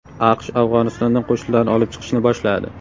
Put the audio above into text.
AQSh Afg‘onistondan qo‘shinlarini olib chiqishni boshladi.